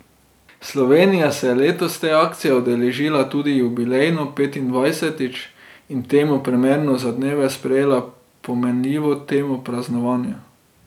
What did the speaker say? Slovenija se je letos te akcije udeležila tudi jubilejno, petindvajsetič, in temu primerno za dneve sprejela pomenljivo temo Praznovanja.